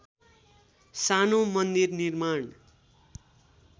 सानो मन्दिर निर्माण